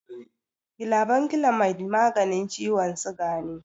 Glabanclamide maganin ciwon siga ne.